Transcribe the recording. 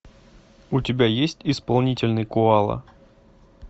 у тебя есть исполнительный коала